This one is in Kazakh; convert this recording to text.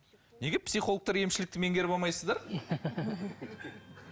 неге психологтар емшілікті менгеріп алмайсыздар